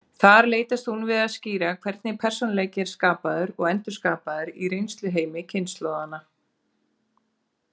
Þar leitast hún við að skýra hvernig persónuleiki er skapaður og endurskapaður í reynsluheimi kynslóðanna.